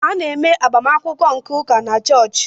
A na-eme agbamakwụkwọ nke ụka na chọọchị.